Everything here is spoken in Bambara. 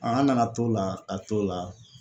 an nana t'o la, ka t'o la